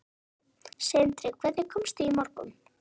Sindri: Hvenær komstu í morgun?